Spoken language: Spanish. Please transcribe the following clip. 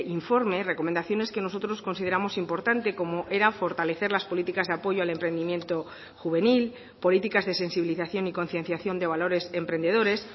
informe recomendaciones que nosotros consideramos importante como era fortalecer las políticas de apoyo al emprendimiento juvenil políticas de sensibilización y concienciación de valores emprendedores